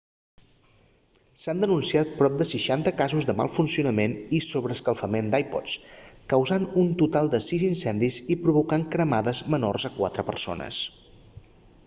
s'han denunciat prop de 60 casos de mal funcionament i sobreescalfament d'ipods causant un total de sis incendis i provocant cremades menors a quatre persones